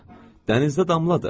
Dənizdə damladı.